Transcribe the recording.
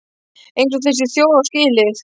Eins og þessi þjóð á skilið.